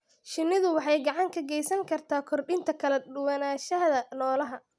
Shinnidu waxay gacan ka geysan kartaa kordhinta kala duwanaanshaha noolaha.